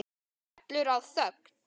Það skellur á þögn.